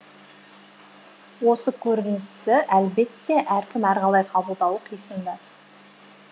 осы көріністі әлбетте әркім әрқалай қабылдауы қисынды